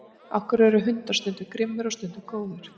af hverju eru hundar stundum grimmir og stundum góðir